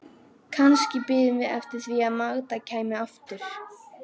Kannski biðum við eftir því að Magda kæmi aftur.